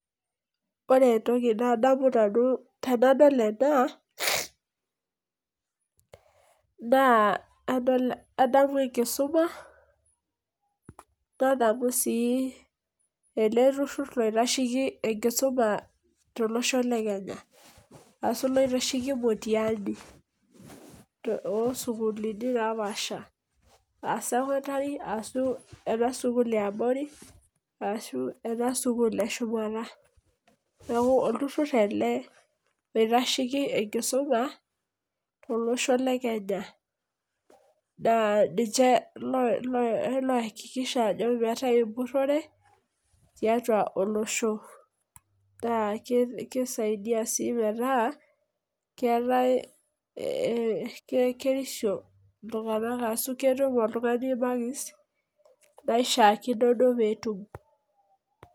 Ore entoki nadamu nanu tenadol ena, naa adamu enkisuma, nadamu si ele turrurr oitasheki enkisuma tolosho le Kenya. Ashu naitasheki mtihani ,osukuulini napaasha. Ah secondary asu ena sukuul eabori, asu ena sukuul eshumata. Neeku olturrur ele oitasheki enkisuma, tolosho le Kenya. Naa ninche lo aakikisha ajo meetae empurrore, tiatua tolosho. Naa kisaidia si metaa, keetae kirisio arashu ketum oltung'ani imakisi naishaakino duo petum.